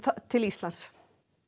til Íslands